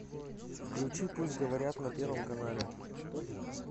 включи пусть говорят на первом канале